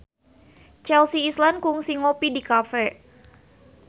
Chelsea Islan kungsi ngopi di cafe